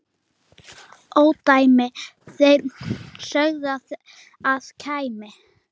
ódæmi þeir sögðu að kæmi.